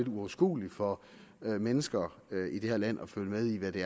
uoverskueligt for mennesker i det her land at følge med i hvad det